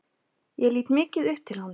Ég lít mikið upp til hans.